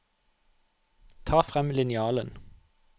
Ta frem linjalen